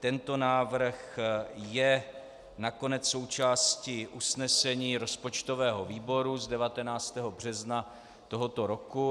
Tento návrh je nakonec součástí usnesení rozpočtového výboru z 19. března tohoto roku.